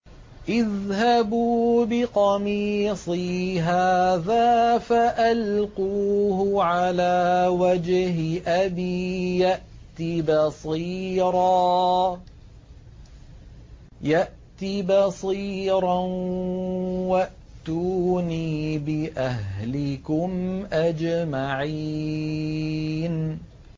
اذْهَبُوا بِقَمِيصِي هَٰذَا فَأَلْقُوهُ عَلَىٰ وَجْهِ أَبِي يَأْتِ بَصِيرًا وَأْتُونِي بِأَهْلِكُمْ أَجْمَعِينَ